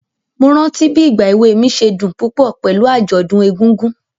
Mo rántí bí ìgba èwe mi ṣe dùn púpọ̀ pẹ̀lú àjọ̀dún egúngún.